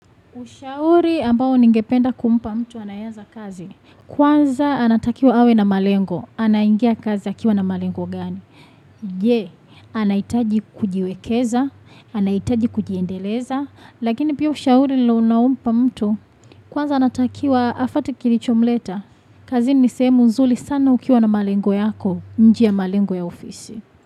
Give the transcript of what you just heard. Ushauri ambao ningependa kumpa mtu anayeanza kazi. Kwanza anatakiwa awe na malengo. Anaingia kazi akiwa na malengo gani. Je, anahitaji kujiwekeza, anahitaji kujiendeleza, lakini pia ushauri ule unampa mtu. Kwanza anatakiwa afuate kilichomleta. Kazini ni sehemu nzuri sana ukiwa na malengo yako nje ya malengo ya ofisi.